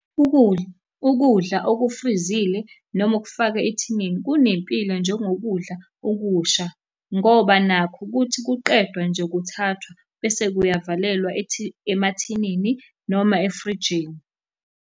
Ukudla, ukudla okufrizile noma okufakwe ethinini, kunempilo njengokudla okusha, ngoba nakho kuthi kuqedwa nje kuthathwa bese kuyavalelwa emathinini noma efrijini.